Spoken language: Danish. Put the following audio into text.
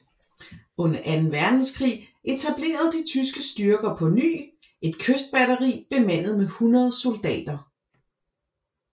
Under Anden Verdenskrig etablerede de tyske styrker på ny et kystbatteri bemandet med 100 soldater